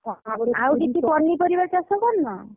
ଆଉ କିଛି ପନିପରିବା ଚାଷ କରିନ?